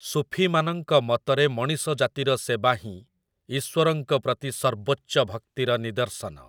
ସୁଫୀମାନଙ୍କ ମତରେ ମଣିଷ ଜାତିର ସେବାହିଁ ଈଶ୍ଵରଙ୍କ ପ୍ରତି ସର୍ବୋଚ୍ଚ ଭକ୍ତିର ନିଦର୍ଶନ ।